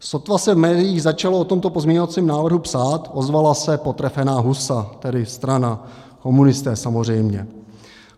Sotva se v médiích začalo o tomto pozměňovacím návrhu psát, ozvala se potrefená husa, tedy strana, komunisté, samozřejmě.